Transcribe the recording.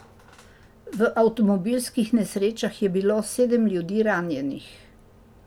V avtomobilskih nesrečah je bilo sedem ljudi ranjenih.